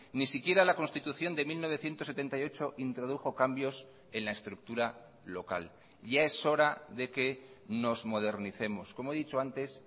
ni siquiera la constitución de mil novecientos setenta y ocho introdujo cambios en la estructura local ya es hora de que nos modernicemos como he dicho antes